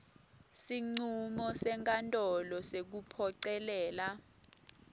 sincumo senkantolo sekuphocelela